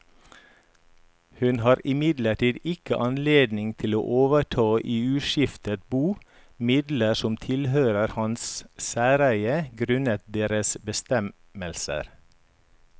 Hun har imidlertid ikke anledning til å overta i uskiftet bo midler som tilhørte hans særeie grunnet deres bestemmelser.